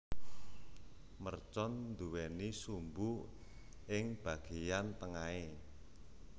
Mercon nduwéni sumbu ing bagéyan tengahé